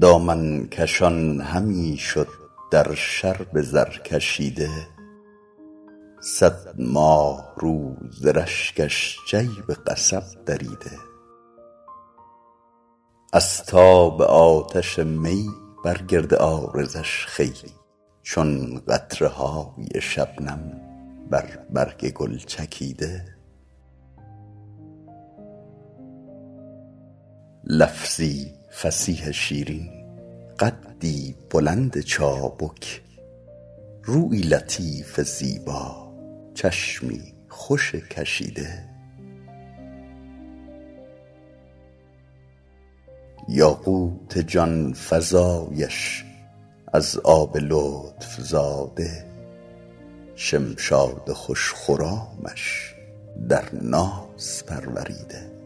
دامن کشان همی شد در شرب زرکشیده صد ماهرو ز رشکش جیب قصب دریده از تاب آتش می بر گرد عارضش خوی چون قطره های شبنم بر برگ گل چکیده لفظی فصیح شیرین قدی بلند چابک رویی لطیف زیبا چشمی خوش کشیده یاقوت جان فزایش از آب لطف زاده شمشاد خوش خرامش در ناز پروریده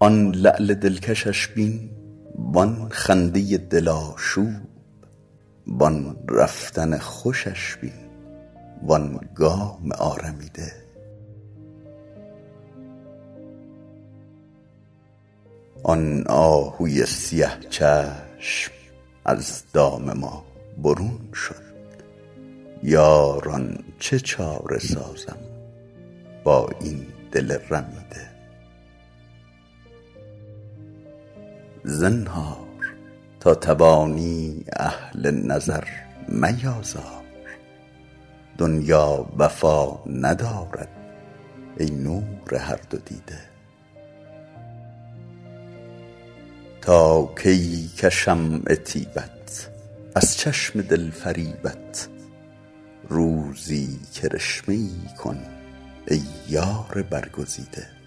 آن لعل دلکشش بین وآن خنده دل آشوب وآن رفتن خوشش بین وآن گام آرمیده آن آهوی سیه چشم از دام ما برون شد یاران چه چاره سازم با این دل رمیده زنهار تا توانی اهل نظر میآزار دنیا وفا ندارد ای نور هر دو دیده تا کی کشم عتیبت از چشم دل فریبت روزی کرشمه ای کن ای یار برگزیده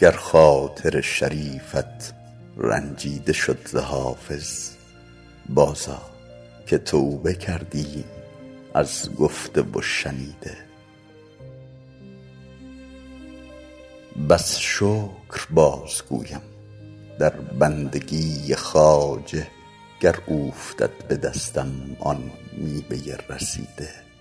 گر خاطر شریفت رنجیده شد ز حافظ بازآ که توبه کردیم از گفته و شنیده بس شکر بازگویم در بندگی خواجه گر اوفتد به دستم آن میوه رسیده